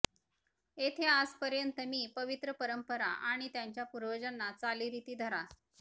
येथे आजपर्यंत मी पवित्र परंपरा आणि त्यांच्या पूर्वजांना चालीरीती धरा